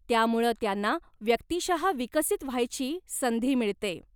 त्यामुळं त्यांना व्यक्तिशः विकसित व्हायची संधी मिळते.